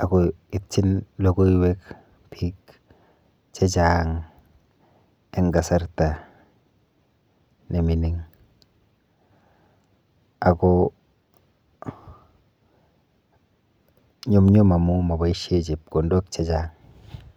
ako itching lokoiwek biik che chang eng kasarta nemining ako nyumnyum amu maboishe chepkondok chechang.